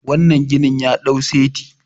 wannan ginin ya dau saiti